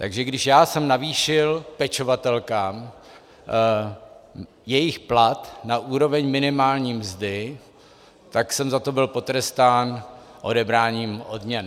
Takže když já jsem navýšil pečovatelkám jejich plat na úroveň minimální mzdy, tak jsem za to byl potrestán odebráním odměn.